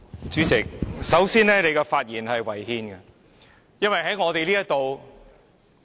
主席，首先，你的發言是違憲的。